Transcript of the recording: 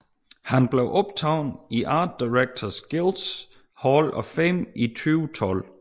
Han blev optaget i Art Directors Guilds Hall of Fame i 2012